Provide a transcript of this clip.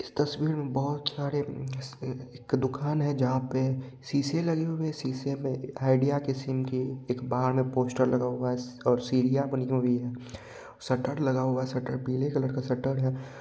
इस तस्वीर में बोहोत सारे एक दुकान है जहाँ पर शीशे लगे हुए है शीशे पर आइडिया की सिम के एक बाहर में पोस्टर लगा हुआ है और सीढ़िया बनी हुई है सटर लगा हुआ है सटर पीले कलर का सटर है।